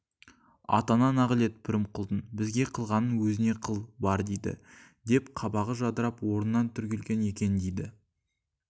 атаңа нағылет пірімқұлдың бізге қылғанын өзіне қыл бар дейді деп қабағы жадырап орнынан түрегелген екен дейді